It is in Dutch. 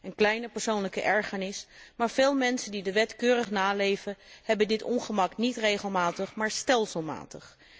Een kleine persoonlijke ergernis, maar veel mensen die de wet keurig naleven, ondergaan dit ongemak niet regelmatig, maar stelselmatig.